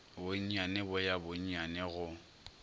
bonnyane bo ya bonnyane go